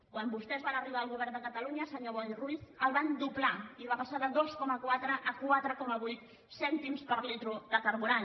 quan vostès van arribar al govern de catalunya senyor boi ruiz el van doblar i va passar de dos coma quatre a quatre coma vuit cèntims per litre de carburant